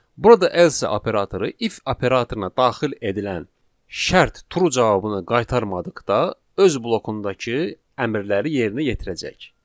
Burada else operatoru if operatoruna daxil edilən şərt true cavabını qaytarmadıqda öz blokundakı əmrləri yerinə yetirəcək.